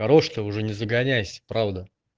хорош то уже не загоняйся правда